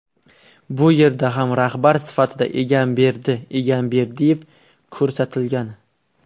Bu yerda ham rahbar sifatida Egamberdi Egamberdiyev ko‘rsatilgan.